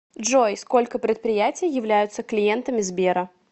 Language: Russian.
джой сколько предприятий являются клиентами сбера